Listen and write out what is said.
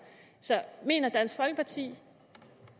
så mener dansk folkeparti